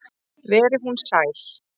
Veri hún sæl.